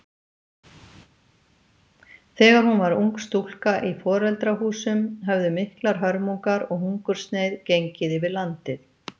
Þegar hún var ung stúlka í foreldrahúsum höfðu miklar hörmungar og hungursneyð gengið yfir landið.